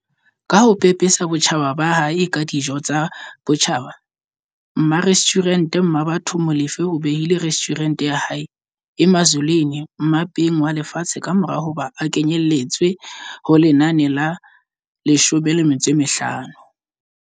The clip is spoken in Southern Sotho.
Ka ho pepesa botjhaba ba hae ka dijo tsa botjhaba, mmarestjhurente Mmabatho Molefe o behile restjhurente ya hae, Emazulwini, mmapeng walefatshe kamora hoba e kenyeletswe ho lenane la50